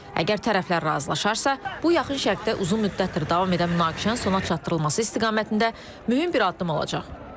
Əgər tərəflər razılaşarsa, bu, Yaxın Şərqdə uzun müddətdir davam edən münaqişənin sona çatdırılması istiqamətində mühüm bir addım olacaq.